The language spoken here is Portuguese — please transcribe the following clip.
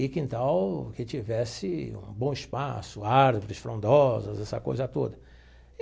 e quintal que tivesse um bom espaço, árvores, frondosas, essa coisa toda.